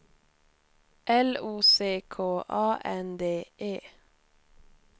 L O C K A N D E